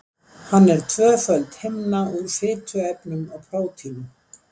Hann er tvöföld himna úr fituefnum og prótínum.